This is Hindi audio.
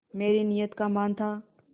मेरी नीयत का मान था